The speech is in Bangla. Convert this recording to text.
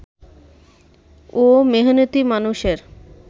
ও মেহনতি মানুষের